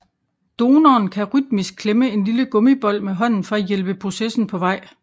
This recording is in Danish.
Donoren kan rytmisk klemme en lille gummibold med hånden for at hjælpe processen på vej